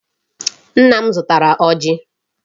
Nna m zụtara ọjị.